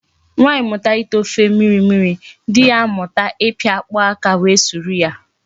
Nwaanyi muta ite ofe mmiri mmiri, di ya amuta ipi akpu aka were suru ya